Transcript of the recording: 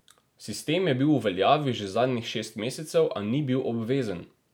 Sistem je bil v veljavi že zadnjih šest mesecev, a ni bil obvezen.